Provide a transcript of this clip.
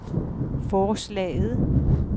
forslaget